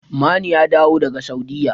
Manu ya dawo daga Saudiyya.